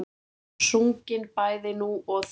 Sungin bæði nú og þá.